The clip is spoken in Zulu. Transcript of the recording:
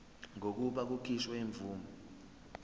kokuba kukhishwe imvume